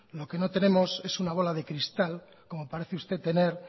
lo que no tenemos es una bola de cristal como parece usted tener